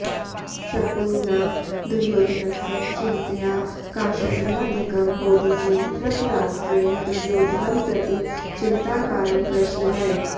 शकुनिना दुर्योधनस्य चिन्तया कार्श्यादिकं बोधितेन धृतराष्ट्रेण दुर्योधनम् प्रति चिन्ताकारणप्रश्नः